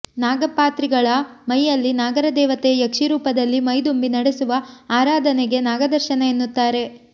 ನಾಗಪಾತ್ರಿಗಳ ಮೈಯಲ್ಲಿ ನಾಗರದೇವತೆ ಯಕ್ಷಿರೂಪದಲ್ಲಿ ಮೈದುಂಬಿ ನಡೆಸುವ ಆರಾಧನೆಗೆ ನಾಗದರ್ಶನ ಎನ್ನುತ್ತಾರೆ